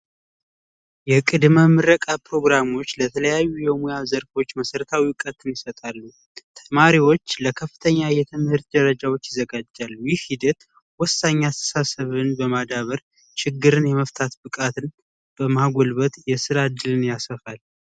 የቅድመ ምረቃ ፕሮግራሞች ለተለያዩ የሙያ ዘርፎች መሰረታዊ እውቀትን ይሰጣሉ። ተማሪዎች ለከፍተኛ የትምህርት ደረጃዎች ይዘጋጃሉ። ይህ ሂደት ወሳኝ አስተሳሰብን በማዳበር ችግርን የመፍታት ብቃትን በማጎልበት የስራ እድልን ያሰፋል።